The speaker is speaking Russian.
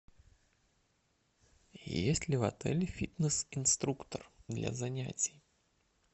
есть ли в отеле фитнес инструктор для занятий